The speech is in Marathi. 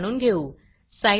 सायलॅब लिंक्स पाहात रहा